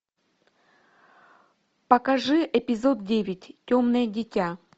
покажи эпизод девять темное дитя